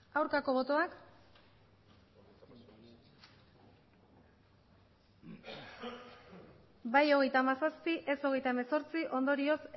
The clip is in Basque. aurkako botoak bai hogeita hamazazpi ez hogeita hemezortzi ondorioz